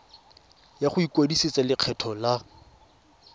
ya go ikwadisetsa lekgetho la